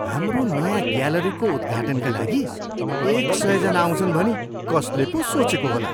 हाम्रो नयाँ ग्यालरीको उद्घाटनका लागि एक सयजना आउँछन् भनी कसले पो सोचेको होला?